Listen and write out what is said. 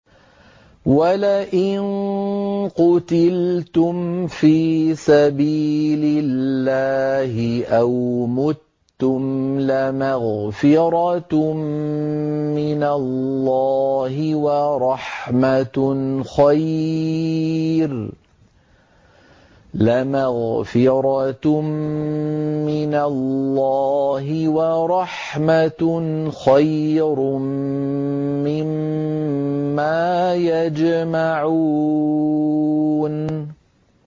وَلَئِن قُتِلْتُمْ فِي سَبِيلِ اللَّهِ أَوْ مُتُّمْ لَمَغْفِرَةٌ مِّنَ اللَّهِ وَرَحْمَةٌ خَيْرٌ مِّمَّا يَجْمَعُونَ